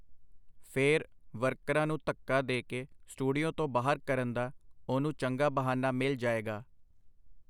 ਫੇਰ, ਵਰਕਰਾਂ ਨੂੰ ਧੱਕਾ ਦੇ ਕੇ ਸਟੂਡੀਓ ਤੋਂ ਬਾਹਰ ਕਰਨ ਦਾ ਉਹਨੂੰ ਚੰਗਾ ਬਹਾਨਾ ਮਿਲ ਜਾਏਗਾ.